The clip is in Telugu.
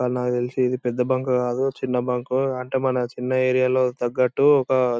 అది నాకు తెల్సి ఇది పెద్ద బంక్ కాదు. చిన్న బంక్ . అంటే మన చిన్న ఏరియా లో తగ్గట్టు--